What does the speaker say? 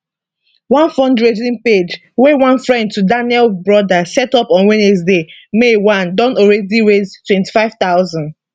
one fundraising page wey one friend to daniel brother set up on wednesday may 1 don already raise 25000